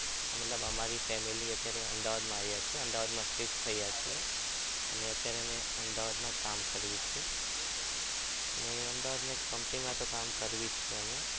મતલબ અમારી family અત્યારે અમદાવાદ આવ્યા છીએ. અમદાવાદમાં shift થયા છે અને અત્યારે અમે અમદાવાદમાં કામ કર્યું છે અને અમદાવાદમાં એક company માં કામ કરવી છે.